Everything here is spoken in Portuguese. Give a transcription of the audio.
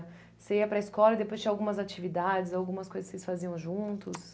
Você ia para a escola e depois tinha algumas atividades, algumas coisas que vocês faziam juntos?